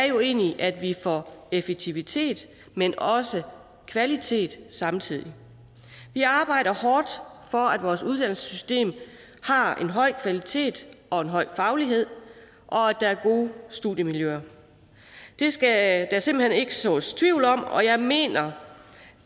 jo egentlig er at vi får effektivitet men også kvalitet samtidig vi arbejder hårdt for at vores uddannelsessystem har en høj kvalitet og en høj faglighed og at der er gode studiemiljøer det skal der simpelt hen ikke sås tvivl om og jeg mener